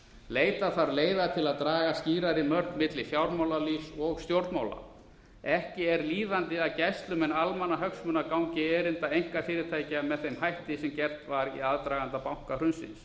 leita þarf leiða til að draga skýrari mörk milli fjármálalífs og stjórnmála ekki er líðandi að gæslumenn almannahagsmuna gangi erinda einkafyrirtækja með þeim hætti sem gert var í aðdraganda bankahrunsins